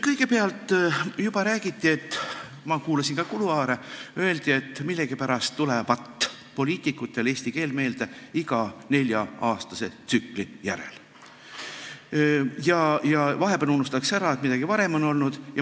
Kõigepealt, juba räägiti – ma kuulasin ka kuluaarivestlusi –, et millegipärast tulevat poliitikutele eesti keel meelde iga nelja aasta järel ja vahepeal unustatakse ära, et midagi varem olnud on.